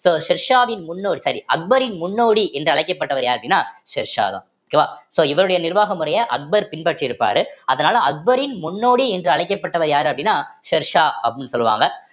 so ஷெர்ஷாவின் முன்னோர் sorry அக்பரின் முன்னோடி என்று அழைக்கப்பட்டவர் யார் அப்படின்னா ஷெர்ஷா தான் so so இவருடைய நிர்வாக முறைய அக்பர் பின்பற்றி இருப்பாரு அதனால அக்பரின் முன்னோடி என்று அழைக்கப்பட்டவர் யாரு அப்படின்னா ஷெர்ஷா அப்படின்னு சொல்லுவாங்க